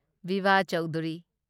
Biva Chaudhuri